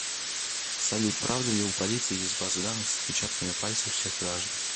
салют правда ли у полиции есть базы данных с отпечатками пальцев всех граждан